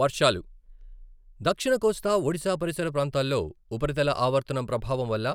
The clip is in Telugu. వర్షాలు దక్షిణ కోస్తా ఒడిశా పరిసర ప్రాంతాల్లో ఉపరితల ఆవర్తనం ప్రభావం వల్ల